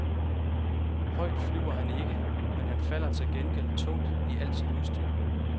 Højt flyver han ikke, men han falder til gengæld tungt i alt sit udstyr.